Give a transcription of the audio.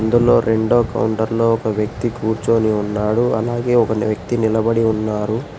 రెండో కౌంటర్లో ఒక వ్యక్తి కూర్చొని ఉన్నాడు అలాగే ఒక వ్యక్తి నిలబడి ఉన్నారు.